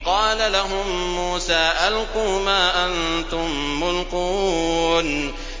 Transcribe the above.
قَالَ لَهُم مُّوسَىٰ أَلْقُوا مَا أَنتُم مُّلْقُونَ